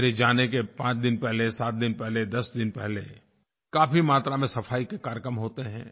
मेरे जाने के पाँच दिन पहले सात दिन पहले दस दिन पहले काफी मात्रा में सफाई के कार्यक्रम होते हैं